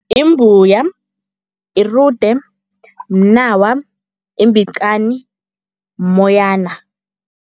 Yimbuya, irude, mnawa, imbicani, mmoyana.